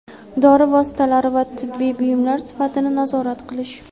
dori vositalari va tibbiy buyumlar sifatini nazorat qilish;.